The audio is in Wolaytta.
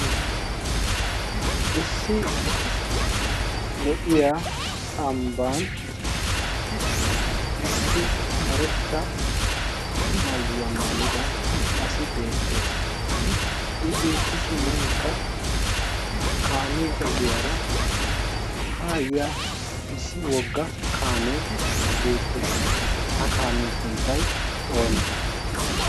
issi lo'iya ambban issi karetta mayyuwaa mayida asi beettees. i beettishinkka kaamiya ogiyaara haayiya issi wogga kaamee beettees ha kaamiyaa sunttai oonee?